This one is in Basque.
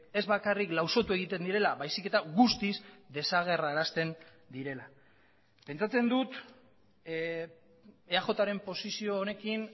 ez bakarrik lausotu egiten direla baizik eta guztiz desagerrarazten direla pentsatzen dut eaj ren posizio honekin